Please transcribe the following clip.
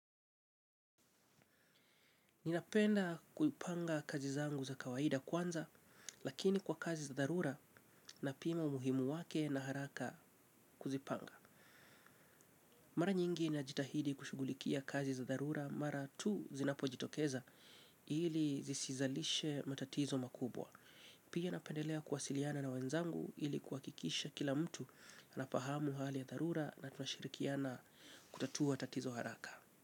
Ninapenda kuipanga kazi zangu za kawaida kwanza, lakini kwa kazi za dharura napima umuhimu wake na haraka kuzipanga. Mara nyingi najitahidi kushughulikia kazi za dharura mara tu zinapojitokeza ili zisizalishe matatizo makubwa. Pia napendelea kuwasiliana na wenzangu ili kuhakikisha kila mtu anafahamu hali ya dharura na tunashirikiana kutatua tatizo haraka.